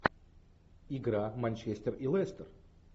игра манчестер и лестер